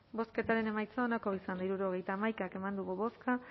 bozketaren emaitza onako izan da hirurogeita hamaika eman dugu bozka